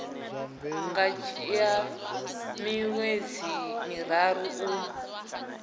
nga dzhia miṅwedzi miraru u